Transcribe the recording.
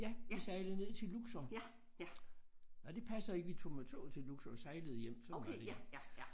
Ja vi sejlede ned til Luxor nej det passer ikke vi tog med toget til Luxor og sejlede hjem sådan var det ja